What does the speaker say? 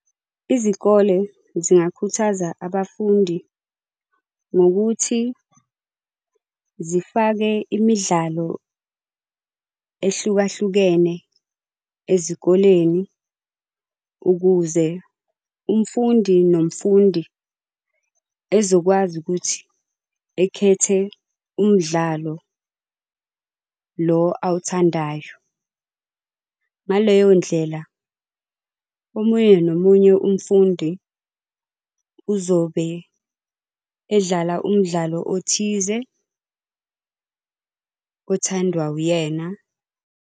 Izikole zingakhuthaza abafundi, ngokuthi zifake imidlalo ehlukahlukene ezikoleni ukuze umfundi nomfundi ezokwazi ukuthi ekhethe umdlalo lo awuthandayo. ngaleyo ndlela omunye nomunye umfundi uzobe edlala umdlalo othize, othandwa uyena.